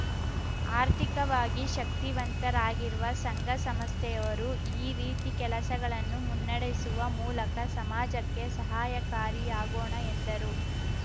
ಆರ್ಥಿಕವಾಗಿ ಶಕ್ತಿವಂತರಾಗಿರುವ ಸಂಘ ಸಂಸ್ಥೆಯವರು ಈ ರೀತಿ ಕೆಲಸಗಳನ್ನು ಮುನ್ನಡೆಸುವ ಮೂಲಕ ಸಮಾಜಕ್ಕೆ ಸಹಯಕಾರಿಯಾಗೋಣ ಎಂದರು